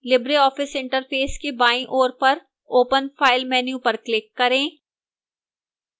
libreoffice interface के बाईं ओर पर open file menu पर click करें